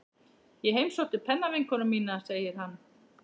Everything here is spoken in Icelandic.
Ég heimsótti pennavinkonu mína, segir hann.